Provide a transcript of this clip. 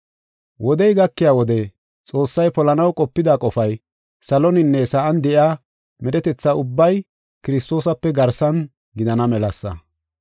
Wodey gakiya wode Xoossay polanaw qopida qofay, saloninne sa7an de7iya medhetetha ubbay Kiristoosape garsan gidana melasa.